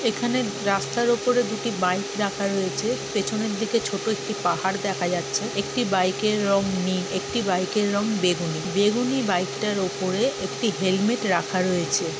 এখানে রাস্তার ওপরে দুটি বাইক রাখা রয়েছে পেছনের দিকে ছোট একটি পাহাড় দেখা যাচ্ছে একটি বাইকের রঙ নীল একটি বাইকের রঙ বেগুনি বেগুনি বাইকটার ওপরে একটি হেলমেট রাখা রয়েছে।